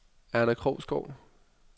Erna Krogsgaard